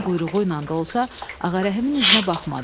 Gözünün quyruğu ilə də olsa, Ağarəhimin üzünə baxmadı.